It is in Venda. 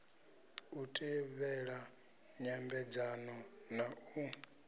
u tevhela nyambedzano na u